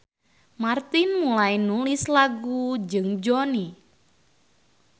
Martin mulai nulis lagu jeung Jonny.